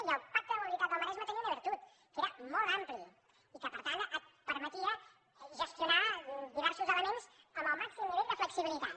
i el pacte de mobilitat del maresme tenia una virtut que era molt ampli i que per tant permetia gestionar diversos elements amb el màxim nivell de flexibilitat